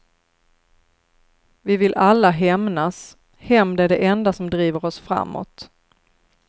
Vi vill alla hämnas, hämnd är det enda som driver oss framåt.